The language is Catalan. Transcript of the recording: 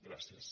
gràcies